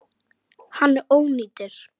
Hann ónýtir.